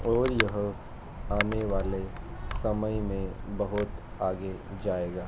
और यहां आने वाले समय में बहोत आगे जाएगा।